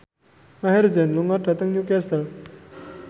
Maher Zein lunga dhateng Newcastle